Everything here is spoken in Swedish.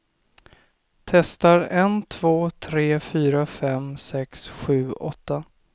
Testar en två tre fyra fem sex sju åtta.